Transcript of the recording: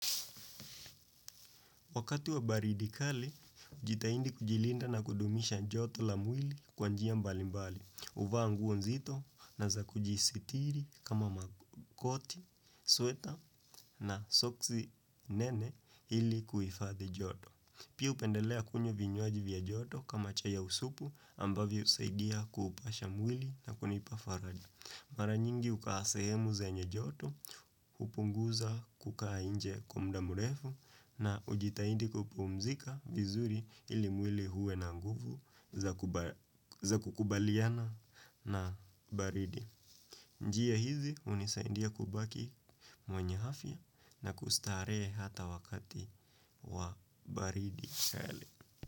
Wakati wa baridi kali hujitahidi kujilinda na kudumisha joto la mwili kwa njia mbali mbali. Huvaa nguo nzito na za kujisitiri kama makoti, sweta na soksi nene ili kuhifadhi joto. Pia hupendelea kunywa vya joto kama chai ya usupu ambavyo husaidia kuepusha mwili na kunipa faraja. Mara nyingi hukaa sehemu zenye joto, hupunguza kukaa nje kwa muda mrefu na kujitahidi kupumzika vizuri ili mwili uwe na nguvu za kukubaliana na baridi. Njia hizi hunisaidia kubaki mwenye afya na kustarehe hata wakati wa baridi.